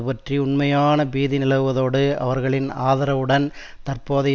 பற்றி உண்மையான பீதி நிலவுவதோடு அவர்களின் ஆதரவுடன் தற்போதைய